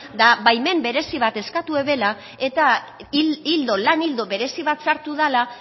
etaa baimen berezi bat eskatu zutela eta lan ildo berezi sartu bat dela